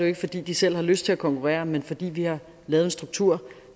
ikke fordi de selv har lyst til at konkurrere men fordi vi har lavet en struktur